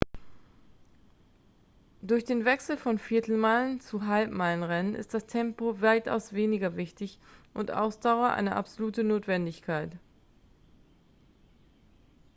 durch den wechsel vom viertelmeilen zum halbmeilen-rennen ist das tempo weitaus weniger wichtig und ausdauer eine absolute notwendigkeit